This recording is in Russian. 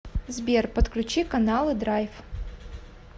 сбер подключи каналы драйв